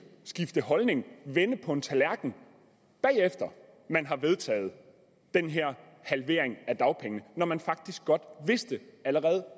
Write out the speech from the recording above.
skifte holdning vende på en tallerken efter at man har vedtaget den her halvering af dagpengene når man faktisk godt vidste allerede